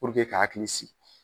ka hakili siki.